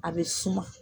A bɛ suma